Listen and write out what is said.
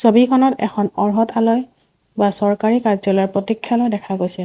ছবিখনত এখন অৰ্হত আলয় বা চৰকাৰী কাৰ্য্যালয়ৰ প্ৰতিক্ষালয় দেখা গৈছে।